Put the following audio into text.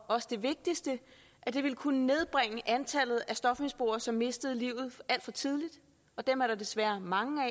også det vigtigste at det ville kunne nedbringe antallet af stofmisbrugere som mistede livet alt for tidligt og dem er der desværre mange